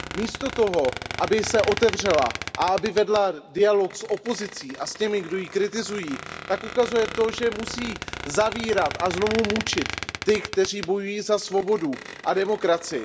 Místo toho, aby se otevřela a aby vedla dialog s opozicí a s těmi, kdo ji kritizují, tak ukazuje to, že musí zavírat a znovu mučit ty, kteří bojují za svobodu a demokracii.